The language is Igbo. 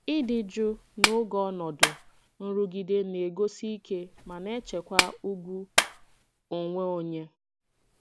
Ịdị jụụ n'oge ọnọdụ nrụgide na-egosi ike ma na-echekwa ùgwù onwe onye.